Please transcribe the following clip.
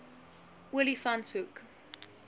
olifantshoek